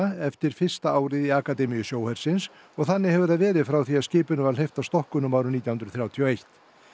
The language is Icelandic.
eftir fyrsta árið í akademíu sjóhersins og þannig hefur það verið frá því að skipinu var hleypt af stokkunum árið nítján hundruð þrjátíu og eitt